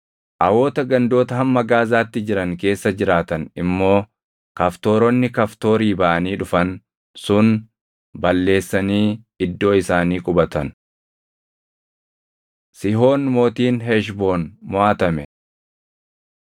Awoota gandoota hamma Gaazaatti jiran keessa jiraatan immoo Kaftooronni Kaftoorii baʼanii dhufan sun balleessanii iddoo isaanii qubatan. Sihoon Mootiin Heshboon Moʼatame